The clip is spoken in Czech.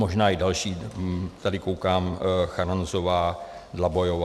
Možná i další, tady koukám - Charanzová, Dlabajová.